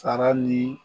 Sara ni